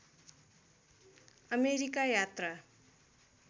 America यात्रा